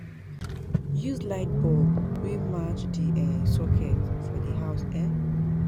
Use light bulb wey match di um socket for di house um